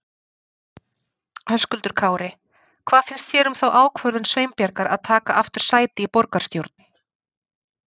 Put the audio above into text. Höskuldur Kári: Hvað finnst þér um þá ákvörðum Sveinbjargar að taka aftur sæti í borgarstjórn?